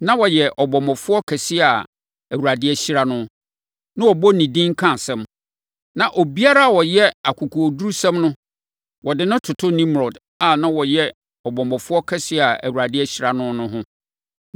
Na ɔyɛ ɔbɔmmɔfoɔ kɛseɛ a Awurade ahyira no, na wɔbɔ ne din ka asɛm. Na obiara a ɔyɛ akokoɔdurusɛm no, wɔde no toto Nimrod a na ɔyɛ ɔbɔmmɔfoɔ kɛseɛ a Awurade ahyira no no ho.